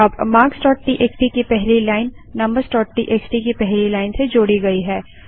अब marksटीएक्सटी की पहली लाइन numbersटीएक्सटी की पहली लाइन से जोड़ी गई है